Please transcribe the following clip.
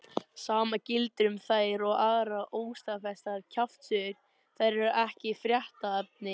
Sama gildir um þær og aðrar óstaðfestar kjaftasögur, þær eru ekki fréttaefni.